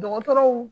Dɔgɔtɔrɔw